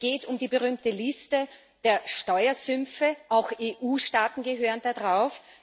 Es geht um die berühmte Liste der Steuersümpfe auch EU Staaten gehören da drauf.